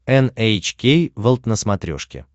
эн эйч кей волд на смотрешке